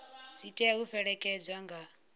dzi tea u fhelekedzwa nga